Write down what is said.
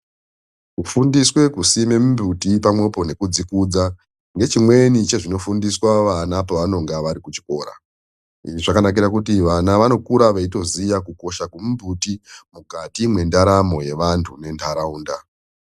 Kufundiswe kusime mimbuti pamwepo nekudzikudza ngechimweni chezvinofundiswa vana pavanonga vari kuchikora. Izvi zvakanakira kuti vana vanokura veitoziya kukosha kwemimbuti mukati mwendaramo yevantu nentaraunda.